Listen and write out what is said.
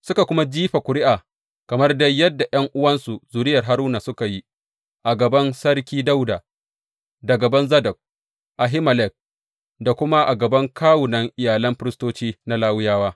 Suka kuma jifa ƙuri’a, kamar dai yadda ’yan’uwansu zuriyar Haruna suka yi, a gaban Sarki Dawuda da gaban Zadok, Ahimelek, da kuma a gaban kawunan iyalan firistoci da na Lawiyawa.